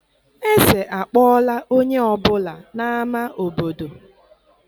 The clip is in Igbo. Eze akpọọla onye ọ bụla n'ámá obodo